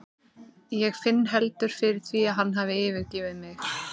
Ég finn ekki heldur fyrir því að hann hafi yfirgefið mig.